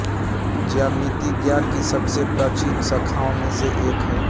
ज्यामिति ज्ञान की सबसे प्राचीन शाखाओं में से एक है